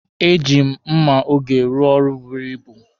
E ji m mma oge rụọ ọrụ buru ibu.